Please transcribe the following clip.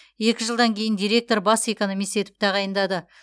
екі жылдан кейін директор бас экономист етіп тағайындады